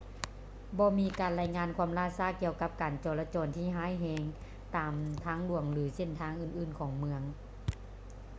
ບໍ່ມີການລາຍງານຄວາມລ່າຊ້າກ່ຽວກັບການຈໍລະຈອນທີ່ຮ້າຍແຮງຕາມທາງຫຼວງ ຫຼື ເສັ້ນທາງອື່ນໆຂອງເມືອງ